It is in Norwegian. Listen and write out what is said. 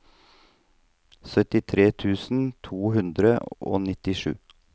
syttitre tusen to hundre og nittisju